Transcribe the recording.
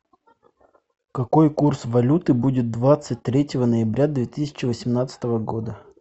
какой курс валюты будет двадцать третьего ноября две тысячи восемнадцатого года